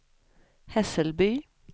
Hässelby